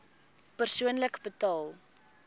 persoonlik betaal